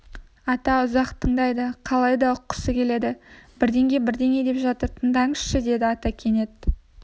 ата ұзақ тыңдайды қалай да ұққысы келеді бірдеңе-бірдеңе деп жатыр тыңдаңызшы деді ата кенет